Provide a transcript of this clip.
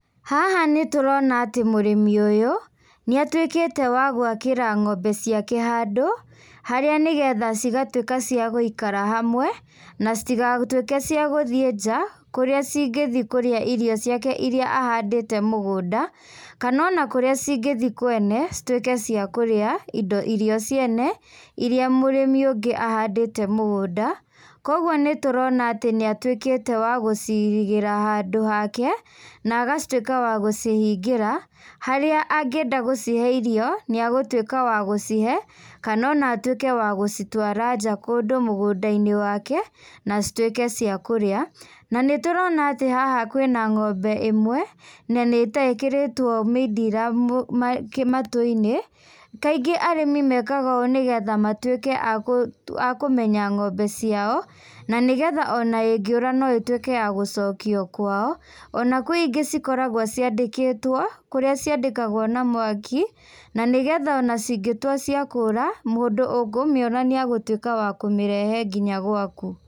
Haha nĩtũrona atĩ mũrĩmi ũyũ, nĩatuĩkĩte wa gwakĩra ng'ombe ciake handũ, harĩa nĩgetha cigatuĩka cia gũikara hamwe, na citigatuĩke cia gũthiĩ nja, kũrĩa cingĩthiĩ kũrĩa irio ciake iria ahandĩte mũgũnda, kana ona kũrĩa cingĩthiĩ kwene, cituĩke cia kũrĩa indo irio ciene, iria mũrĩmi ũngĩ ahandĩte mũgũnda, koguo nĩtũrona atĩ niatuĩkĩte wa gũcirigĩra handũ hake, na agatuĩka wa gũcihingĩra, harĩa angĩenda gũcihe irio, nĩagũtuĩka wa gũcihe, kana ona atuĩke wa gũcitwara nja kũndũ mũgũndainĩ wake, na cituĩke cia kũrĩa, na nĩturona atĩ haha kwĩna ng'ombe ĩmwe, na nĩta ĩkĩrĩtwo mindira ma mũtũ matũinĩ, kaingĩ arĩmi mekaga ũũ nĩgetha matuĩke a kũ a kũmenya ng'ombe ciao, na nĩgetha ona ingĩũra no ĩtuĩke ya gũcokio kwao, ona kwĩ ingĩ cikoragwo ciandĩkĩtwo, kũrĩa ciandĩkagwo na mwaki, na nĩgetha ona cingĩtua cia kũra, mũndũ ũkũmiona niagutuĩka wa kũmĩrehe nginya gwaku.